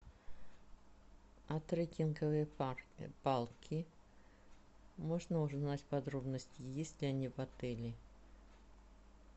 а трекинговые палки можно узнать подробности есть ли они в отеле